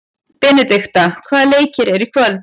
Benidikta, hvaða leikir eru í kvöld?